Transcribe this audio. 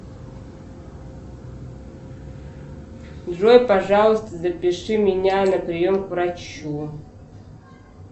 джой пожалуйста запиши меня на прием к врачу